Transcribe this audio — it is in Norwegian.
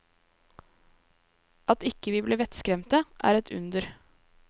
At ikke vi ble vettskremte, er et under.